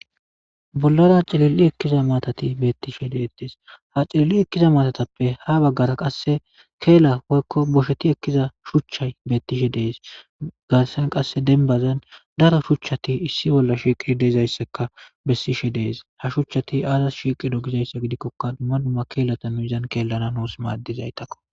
Bollara cililli ekkiza matati beettishe deetes ha cililli ekkiza matatappe ha baggara qasse keela hoykko bosheti ekkiza shuchchay beettishe dees garsan qasse denbazan daro shuchchati issi bolla shiiqish deezayssaka bessishe dees ha shuchchati aazas shiqido gizayssa gidikkoka dumma dumma keelata nuizan keellana nuus maaddizaytakko